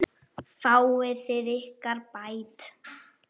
Fáið þið ykkar bætt.